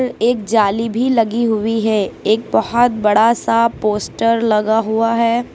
एक जाली भी लगी हुई है एक बहोत बड़ा सा पोस्टर लगा हुआ है।